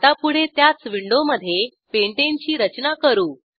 आता पुढे त्याच विंडोमधे पेंटाने ची रचना करू